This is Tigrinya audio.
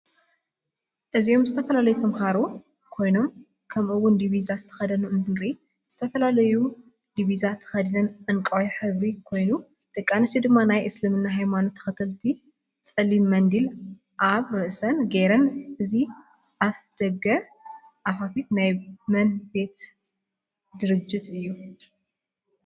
እዝኦም ዝተፈላላዩ ተማሃሩ ኮይኖም ክምኡ እውን ዲብዛ ዝተከደኑ እንትርኢ ዝትፍላላየሁ ድ ብዛ ተከዲነን ዕንቃይ ሕብሪ ኮይኑ ደቂ ኣንስትዮ ድማ ናይ እስልምና ሃይመናት ተከተልቲ ፅልም መንድሊ ኣብ እሰን ገይረን እዚ ኣፍደጋኣፋፈት ናይ መን ቤት ጅርት እዩ?